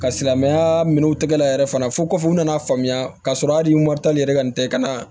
Ka silamɛya minɛnw tɛgɛla yɛrɛ fana fo kɔfɛ u nana faamuya k'a sɔrɔ hali moritani yɛrɛ ka nin tɛ ka na